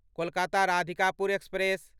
Kolkata Radhikapur express